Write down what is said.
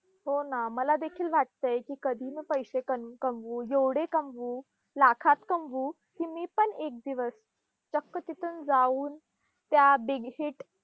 हो ना! मला देखील वाटतंय की कधी मी पैशे कम कमवू, जेवढे कमवू, लाखात कमवू की मी पण एक दिवस चक्क तिथं जाऊन त्या big hit